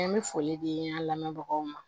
An bɛ foli di an lamɛnbagaw ma